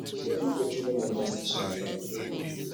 no build petroluem or gas station arround where pipo de live